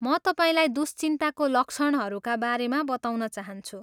म तपाईँलाई दुश्चिन्ताको लक्षणहरूका बारेमा बताउन चाहन्छु।